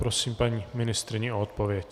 Prosím paní ministryni o odpověď.